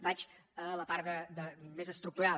vaig a la part més estructural